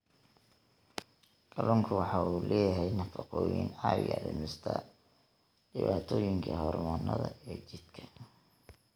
Kalluunku waxa uu leeyahay nafaqooyin caawiya dhimista dhibaatooyinka hormoonnada ee jidhka.